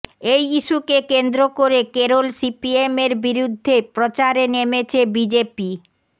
এই ইস্যুকে কেন্দ্র করে কেরল সিপিএমের বিরুদ্ধে প্রচারে নেমেছে বিজেপি